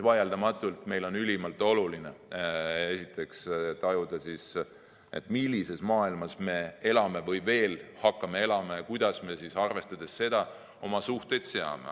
Vaieldamatult on meile ülimalt oluline tajuda, millises maailmas me elame või hakkame elama ja kuidas me seda arvestades oma suhteid seame.